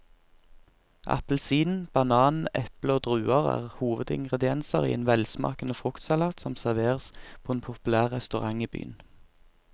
Appelsin, banan, eple og druer er hovedingredienser i en velsmakende fruktsalat som serveres på en populær restaurant i byen.